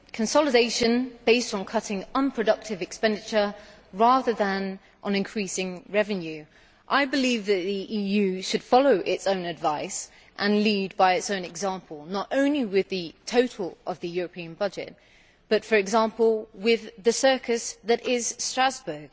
Consolidation based on cutting unproductive expenditure rather than on increasing revenue. I believe the EU should follow its own advice and lead by its own example, not only with the total of the European budget but, for example, with the circus that is Strasbourg.